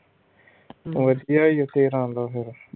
ਵਧੀਆ ਈ ਓਹ ਤੇਰਾ ਦਾ ਫਿਰ